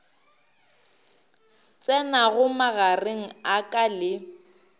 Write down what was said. tsenago magareng a ka le